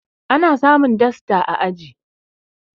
ana samun dasta a aji